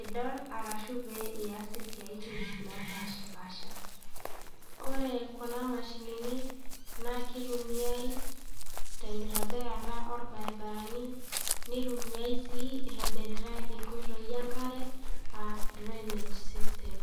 idol arashu pee ias isiaitin naapashi paasha. Ore kuna mashinini naa keitumiai tenkitobirata oolbaribarani. Neitumiai sii eitobititai inkoitoi enkare, aa drainage system